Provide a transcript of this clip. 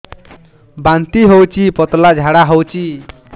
ବାନ୍ତି ହଉଚି ପତଳା ଝାଡା ହଉଚି